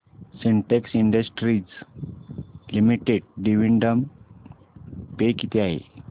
Sintex industries limited dividend pay किती आहे